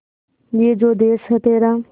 ये जो देस है तेरा